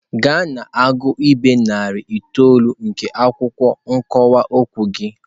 Gaa na-agụ ibe narị itoolu nke akwụkwọ ọkọwa okwu gị!.